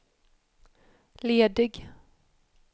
ledig